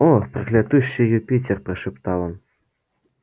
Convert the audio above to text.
о проклятущий юпитер прошептал он